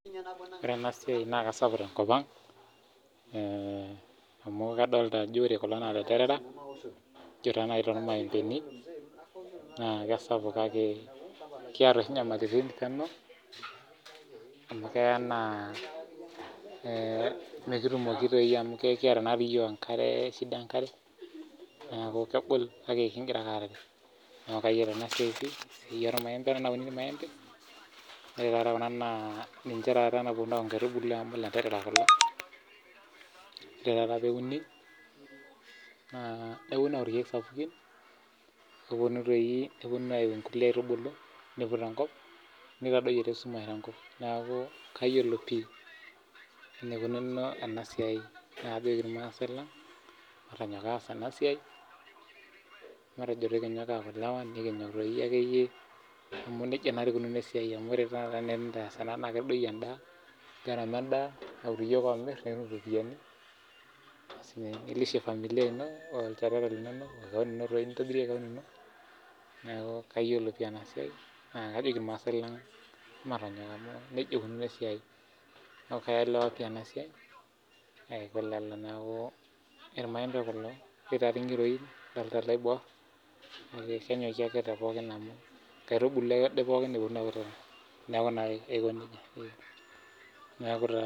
Ore ena siai naa kisapuk tenkop amu kadolita Kuna ena ilandera loo irmaembeni naa kisapuk kake amu keya nimikitumoki amu kiata naa iyiok shida enkare neeku kegol kake kigira ake arare neeku kayiolo enasiai nauni irmaembe ore taata Kuna naa ninche naapuonu aku nkaitubulu amu elanterera kulo ore taata pee uni nepuonu aku irkeek sapukin nepuonu ayieu enkulie aitubulu input enkop naitadoyio esumash neeku kayiolo pii enaikunono enasiai neeku kajoki irmaasai lang matonyok aas ena siai matejo ekinyok ena elewa amu tenikias ena naa kedoyio gharama endaa neeku iyiok omir nikitum eropiani neeku kayiolo pii ena siai neej kajo irmaasai lang matonyok amu nejia eikunono esiai neeku kaelewa pii ena siai neeku irmaembe kulo kidolita irngiroin netii eloibor naa enkaitubulu ake pookin